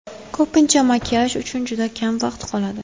Ko‘pincha makiyaj uchun juda kam vaqt qoladi.